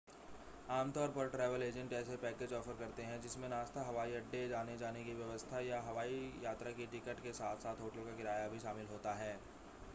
आम तौर पर ट्रैवल एजेंट ऐसे पैकेज ऑफ़र करते हैं जिनमें नाश्ता हवाई अड्डे आने-जाने की व्यवस्था या हवाई यात्रा की टिकट के साथ-साथ होटल का किराया भी शामिल होता है